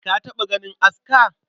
Ka taɓa ganin aska?